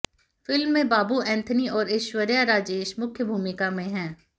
film में बाबू एंथनी और ऐश्वर्य राजेश मुख्य भूमिका में हैं